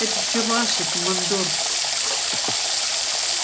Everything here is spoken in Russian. это всё ваше командор